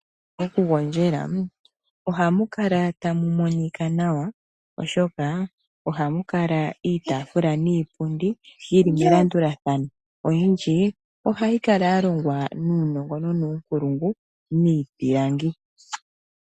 Mondunda yoku gondjela ohamu kala tamu monika nawa oshoka ohamu kala iitaafula niipundi yili melandulathano. Oyindji ohayi kala ya longwa nuunongo nonuunkulungu miipilangi.